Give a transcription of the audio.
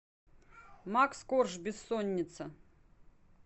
макс корж бессонница